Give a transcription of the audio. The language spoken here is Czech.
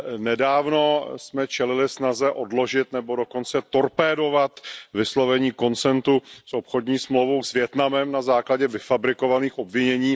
Nedávno jsme čelili snaze odložit nebo dokonce torpédovat vyslovení konsenzu s obchodní smlouvou s Vietnamem na základě vyfabrikovaných obvinění.